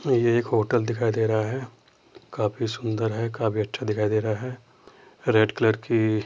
एक होटल दिखाई दे रहा है काफी सुन्दर है काफी अच्छा दिखाई दे रहा है रेड कलर की --